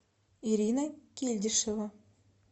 ирина кильдишева